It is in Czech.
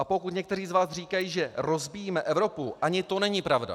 A pokud někteří z vás říkají, že rozbíjíme Evropu, ani to není pravda.